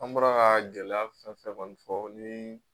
An bɔra ka gɛlɛya fɛn o fɛn fɔ ni